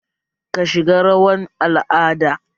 Ka shiga rawar al'ada?